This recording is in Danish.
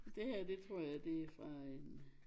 Det her det tror jeg det fra en